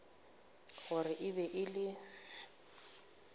gore e be e le